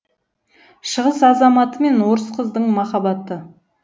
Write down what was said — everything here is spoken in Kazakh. шығыс азаматы мен орыс қыздың махаббаты